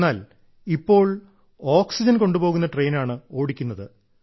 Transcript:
എന്നാൽ ഇപ്പോൾ ഓക്സിജൻ കൊണ്ടുപോകുന്ന ട്രെയിനാണ് ഓടിക്കുന്നത്